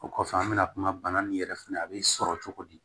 O kɔfɛ an bɛna kuma bana min yɛrɛ fɛ a bɛ sɔrɔ cogo di